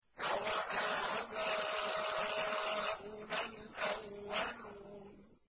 أَوَآبَاؤُنَا الْأَوَّلُونَ